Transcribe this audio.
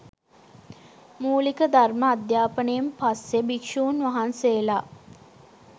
මූලික ධර්ම අධ්‍යාපනයෙන් පස්සේ භික්ෂූන් වහන්සේලා